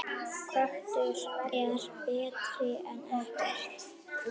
Köttur er betri en ekkert.